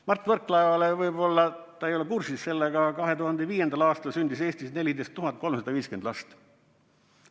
Mart Võrklaevale, võib-olla ta ei ole kursis sellega, 2005. aastal sündis Eestis 14 350 last.